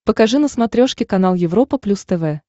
покажи на смотрешке канал европа плюс тв